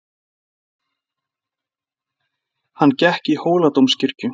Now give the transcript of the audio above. Hann gekk í Hóladómkirkju.